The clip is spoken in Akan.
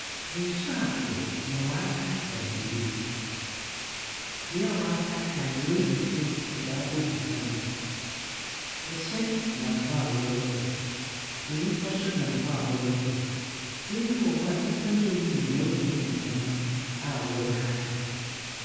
Nsuo atɔ ma wɔataetae beebi. Bea a wataetae no, woeyi fi wɔdze abogu kwan no do. Hyɛn nam hɔ a wɔrekɔ. Nyipa nso nam hɔ a wɔrekɔ. Beebi wɔ hɔ a nyipa no eyiyi hɔn dan mu nneɛma a wɔrehata.